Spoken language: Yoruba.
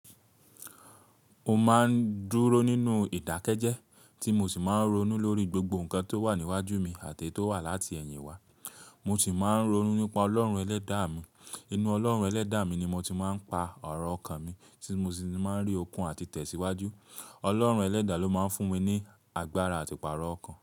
Mo máa ń dúró nínú ìdákẹ́jẹ́ tí mo sì máa ń ronú lórí gbogbo nǹkan tó wà níwájú mi àti eyi tó wà láti ẹ̀yìn wa. Mo sì máa ń ronú nípa Ọlọ́run ẹlẹ́dàá mi. Inú Ọlọ́run ẹlẹ́dàá mi ni mo ti máa ń pa arọ̀ ọkàn mi tí mo sì ti máa ń rí okun àti tẹ̀síwájú. Ọlọ́run ẹlẹ́dàá ló máa ń fún mi ní agbára àti pààrọ̀ ọkàn.